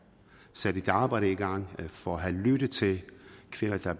sat et arbejde i gang for at have lyttet til kvinder der